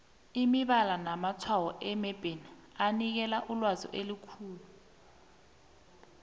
imibala namatshwayo emebheni anikela ilwazi elizeleko